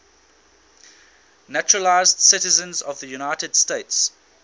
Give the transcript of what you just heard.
naturalized citizens of the united states